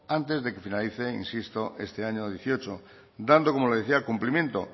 antes de que finalice este año dieciocho dando como le decía cumplimiento